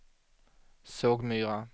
Sågmyra